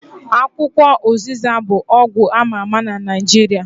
Akwukwo ụzịza bụ ọgwụ ama ama na Naijiria